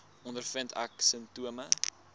ondervind ek simptome